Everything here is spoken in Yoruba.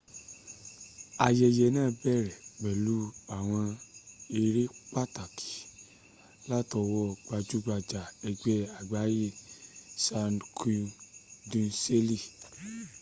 ayẹyẹ náà bẹ̀rẹ̀ pẹ̀lú àwọn eré pàtàkì látọwọ́ gbajúgbajù ẹgbẹ́ àgbáyé cirque du soleil